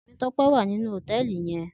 Temitope wá ninú hótèlí yèn